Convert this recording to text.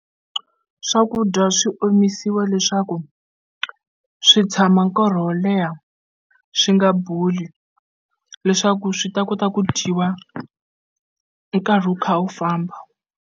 Swakudya swi omisiwa leswaku swi tshama nkarhi wo leha swi nga boli leswaku swi ta kota ku dyiwa nkarhi wu kha wu famba.